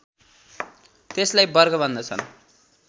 त्यसलाई वर्ग भन्दछन्